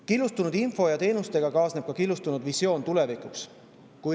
Killustunud info ja teenustega kaasneb ka killustunud tulevikuvisioon.